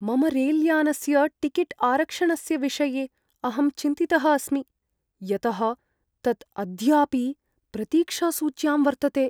मम रेल्यानस्य टिकेट् आरक्षणस्य विषये अहं चिन्तितः अस्मि, यतः तत् अद्यापि प्रतीक्षासूच्यां वर्तते।